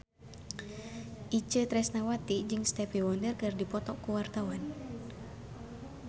Itje Tresnawati jeung Stevie Wonder keur dipoto ku wartawan